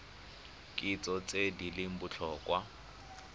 kitso tse di leng botlhokwa